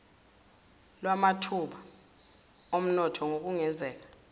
lwamathuba omnotho nokungenzeka